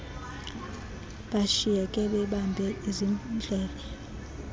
bashiyeke bebambe izidlele